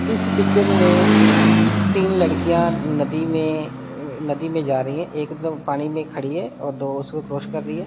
इस पिक्चर में तीन लड़कियाँ नदी में नदी में नदी में जा रही हैं एक पानी में खड़ी है और दो उसको क्रॉस कर रही हैं।